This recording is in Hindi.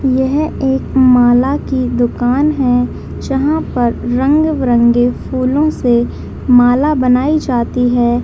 यह एक माला की दुकान है जहाँ पे रंग बिरंगे फूलो से माला बनाई जाती है।